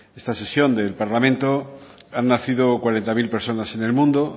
esta sesión del parlamento ha nacido cuarenta mil personas en el mundo